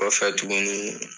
O fɛ tuKuni